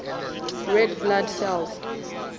red blood cells